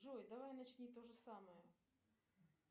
джой давай начни то же самое